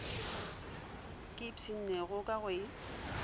ke ipshinnego ka go e